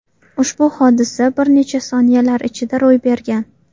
Ushbu hodisa bir necha soniyalar ichida ro‘y bergan.